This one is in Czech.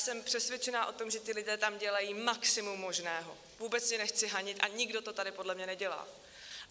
Jsem přesvědčena o tom, že ti lidé tam dělají maximum možného, vůbec je nechci hanit a nikdo to tady podle mě nedělá.